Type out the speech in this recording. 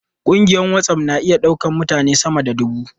Kungiyar WhatsApp na iya daukar mutane sama da dubu.